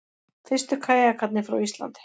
Fyrstu kajakarnir frá Íslandi